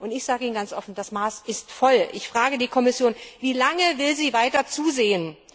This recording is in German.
Ich sage Ihnen ganz offen Das Maß ist voll! Ich frage die Kommission Wie lange will sie weiter zusehen?